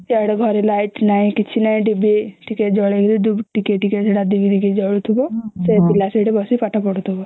ସେଆଡେ଼ ଘରେ light ନାଇଁ କିଛି ନାଇଁ ଡିବି ଟିକେ ଜଳେଇକି ଟିକେ ଟିକେ ସେଟା ଢୁକେ ଢୁକେ ଜଳୁଥିବା ସେ ପିଲା ସେଠି ବସିକି ପାଠ ପଢ଼ୁଥିବା